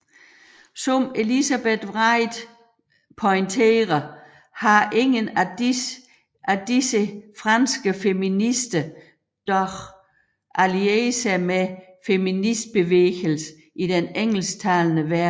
Som Elizabeth Wright pointerer har ingen af disse franske feminister dog allieret sig med feministbevægelsen i den engelsktalende verden